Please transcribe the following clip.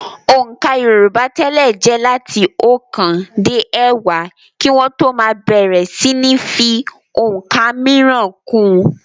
Òǹkà yorùbá tẹ́lẹ̀ jẹ́ láti ọ̀kan dé ẹ̀wá kí wọ́n tó máa bẹ̀rẹ̀ síní fi ọ̀ǹkà mìíràn kún un.